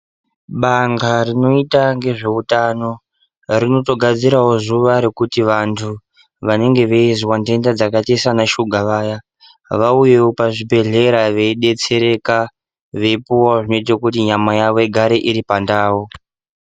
Bandhla rinoita ngezveutano, rinotogadzirawo zuwa rekuti vantu vanenge veizwa ntenda, dzakaite seanashuga vaya, vauyewo pazvibhedhlera veidetsereka ,veipuwa zvinoita kuti nyama yavo igare iri pandau.